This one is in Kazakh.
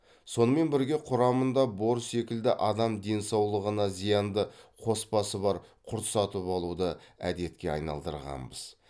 сонымен бірге құрамында бор секілді адам денсаулығына зиянды қоспасы бар құрт сатып алуды әдетке айналдырғанбыз